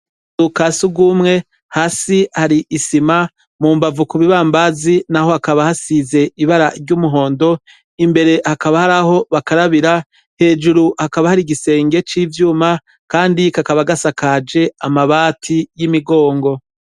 Dukasi ugumwe hasi hari isima mu mbavu ku bibambazi na ho hakaba hasize ibara ry'umuhondo imbere hakaba haraho bakarabira hejuru hakaba hari igisenge c'ivyuma, kandi kakaba gasa kaje amabati y'imigongo.